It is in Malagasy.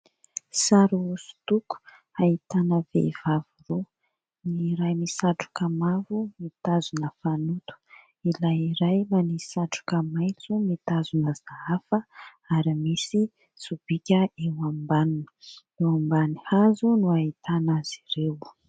Sary hosodoko ahitana vehivavy roa : ny iray misatroka mavo mitazona fanoto, ilay iray manisy satroka maitso mitazona sahafa ary misy sobika eo ambaniny. Eo ambany hazo no ahitana azy ireo.